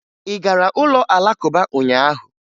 Ị gara ụlọ Alakụba ụnyaahụ?